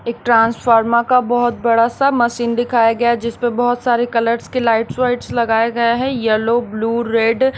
एक ट्रांसफार्मा का बहुत बड़ा सा मशीन दिखाया गया जिस पर बहुत सारे कलर्स के लाइट्स वाइट्स लगाया गए है येलो ब्लू रेड --